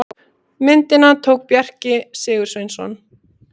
myndina tók bjarki sigursveinsson